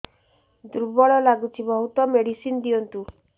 ଦୁର୍ବଳ ଲାଗୁଚି ବହୁତ ମେଡିସିନ ଦିଅନ୍ତୁ